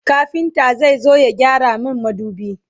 kafinta zai zo ya gyara min madubi